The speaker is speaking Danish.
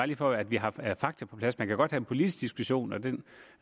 lige for at vi har fakta på plads man kan godt have en politisk diskussion og den